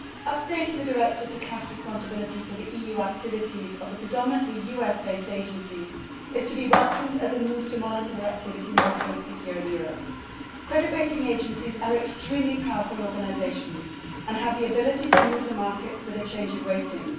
Updating the directive to cast responsibility for the EU activities of the predominantly US based agencies is to be welcomed as a move to monitor their activity more closely here in Europe. Credit rating agencies are extremely powerful organisations and have the ability to move the markets with a change of rating.